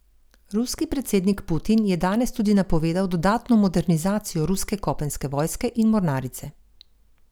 Ruski predsednik Putin je danes tudi napovedal dodatno modernizacijo ruske kopenske vojske in mornarice.